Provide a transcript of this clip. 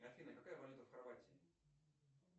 афина какая валюта в хорватии